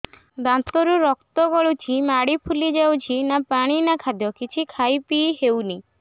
ଦାନ୍ତ ରୁ ରକ୍ତ ଗଳୁଛି ମାଢି ଫୁଲି ଯାଉଛି ନା ପାଣି ନା ଖାଦ୍ୟ କିଛି ଖାଇ ପିଇ ହେଉନି